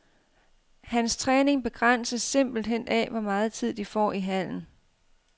Hans træning begrænses simpelt hen af, hvor meget tid de får i hallen.